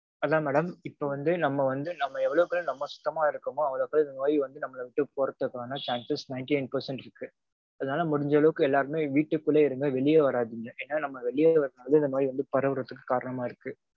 அதா madam. இப்போ வந்து நம்ம வந்து நம்ம எவ்வளவுக்கவ்வளவு நம்ம சுத்தமா இருக்கமோ அவ்வளக்கவ்வளவு நோய் வந்து நம்மள விட்டு போகறதுக்கான chances ninety nine percent இருக்கு. அதனால முடிஞ்ச அளவுக்கு எல்லாருமே வீட்டுக்குள்ளயே இருங்க. வெளியவே வராதீங்க. ஏன்னா நம்ம வெளிய வரது வந்து இந்த நோய் பரவறதுக்கு காரணமா இருக்கு.